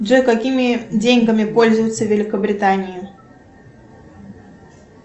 джой какими деньгами пользуются в великобритании